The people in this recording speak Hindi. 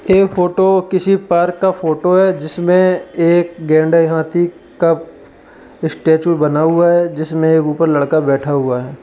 ये फोटो किसी पार्क का फोटो है जिसमें एक गेंड़े हाथी का स्टेच्यू बना हुआ है। जिसमें एक ऊपर एक लड़का बैठा हुआ है।